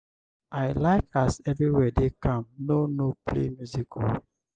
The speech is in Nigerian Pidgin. i like as everywhere dey calm no no play music o.